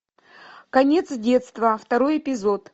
конец детства второй эпизод